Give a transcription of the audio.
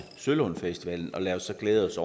sølund musik festival og lad os så glæde os